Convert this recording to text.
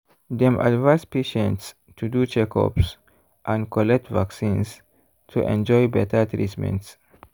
dem advise patients to do checkups and collect vaccines to enjoy better treatment.